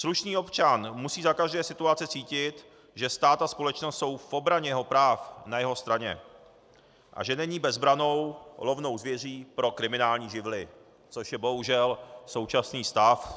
Slušný občan musí za každé situace cítit, že stát a společnost jsou v obraně jeho práv na jeho straně a že není bezbrannou lovnou zvěří pro kriminální živly, což je bohužel současný stav.